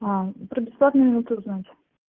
про бесплатные минуты узнать